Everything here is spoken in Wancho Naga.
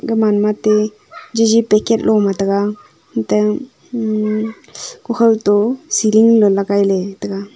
gaman matey jeji packet loma tega unte um kukhaw to ceiling le legai ley tega.